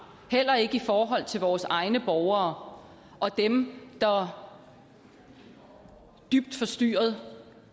heller ikke i forhold til vores egne borgere dem der dybt forstyrret